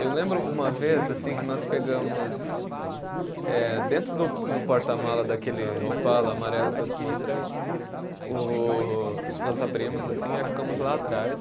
Eu lembro uma vez assim que nós pegamos, eh dentro do do porta-malas daquele Opala amarelo que eu te mostrei, o nós abrimos assim aí ficamos lá atrás.